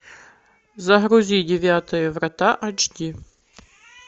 загрузи девятые врата эйч ди